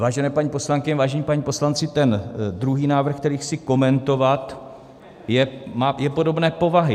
Vážené paní poslankyně, vážení páni poslanci, ten druhý návrh, který chci komentovat, je podobné povahy.